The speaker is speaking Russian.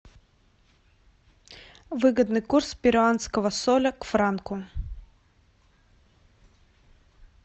выгодный курс перуанского соля к франку